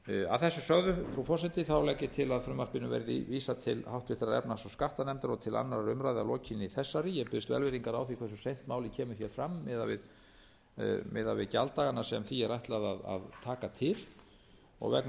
að þessu sögðu frú forseti legg ég til að frumvarpi þessu verði vísað til háttvirtrar efnahags og skattanefndar og til annarrar umræðu að aflokinni þessari umræðu ég biðst velvirðingar á því hversu seint málið kemur fram miðað við gjalddagana sem því er ætlað að taka til og vegna